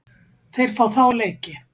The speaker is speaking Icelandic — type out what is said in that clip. Þeir fá þá leiki.